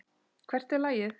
Hvert er lagið?